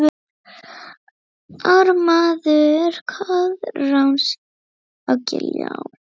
Ármaður Koðráns á Giljá